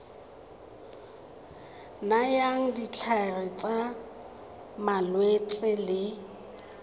nayang ditlhare tsa malwetse le